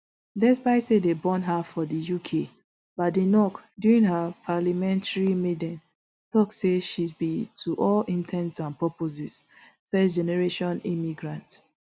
despite say dem born her for di uk badenoch during her parliamentary maiden tok say she be to all in ten ts and purposes firstgeneration immigrant